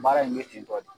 Baara in bɛ tentɔ de